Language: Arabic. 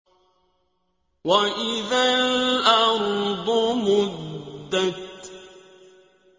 وَإِذَا الْأَرْضُ مُدَّتْ